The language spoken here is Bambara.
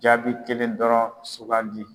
Jaabi kelen dɔrɔn sugandi.